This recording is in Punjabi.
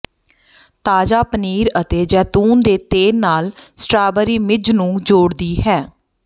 ਤਾਜ਼ਾ ਪਨੀਰ ਅਤੇ ਜੈਤੂਨ ਦੇ ਤੇਲ ਨਾਲ ਸਟਰਾਬਰੀ ਮਿੱਝ ਨੂੰ ਜੋੜਦੀ ਹੈ